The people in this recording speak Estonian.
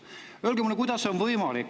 Öelge mulle, kuidas see on võimalik.